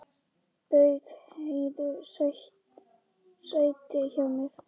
Bauð Heiðu sæti hjá mér.